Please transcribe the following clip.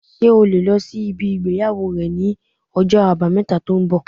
Ṣé o lè lọ sí ibi ìgbéyàwó rẹ ní ọjọ́ àbámẹ̀ta tó ń bọ̀